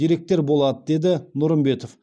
деректер болады деді нұрымбетов